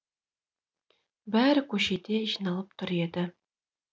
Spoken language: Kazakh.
бәрі көшеде жиналып тұр еді